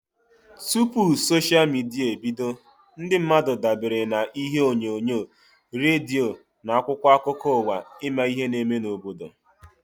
Tụpụ soshia midia ebido, ndị mmadụ dabere na ihe onyonyo, redio na akwụkwọ akụkọ ụwa ịma ihe n'eme n'obodo